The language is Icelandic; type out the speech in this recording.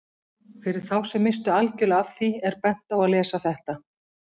Fyrir þá sem misstu algjörlega af því er bent á að lesa þetta.